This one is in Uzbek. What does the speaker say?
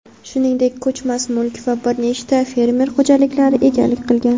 shuningdek ko‘chmas mulk va bir nechta fermer xo‘jaliklariga egalik qilgan.